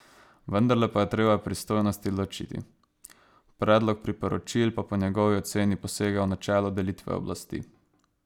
Vendarle pa je treba pristojnosti ločiti, predlog priporočil pa po njegovi oceni posega v načelo delitve oblasti.